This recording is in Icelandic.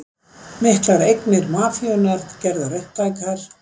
Miklar eignir mafíunnar gerðar upptækar